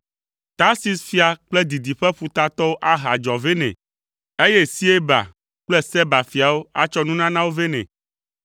Tarsis fia kple didiƒe ƒutatɔwo ahe adzɔ vɛ nɛ, eye Sieba kple Seba fiawo atsɔ nunanawo vɛ nɛ.